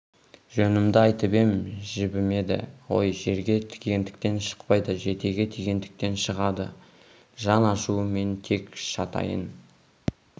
жөнімді айтып ем жібімеді ғой жерге тигендіктен шықпайды жетеге тигендіктен шығады жан ашуы мен тек жатайын